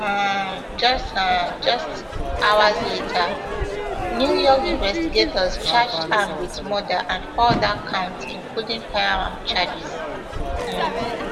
um just um just hours later new york investigators charged am wit murder and four oda counts including firearms charges um